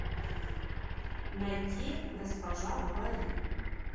найти госпожа говори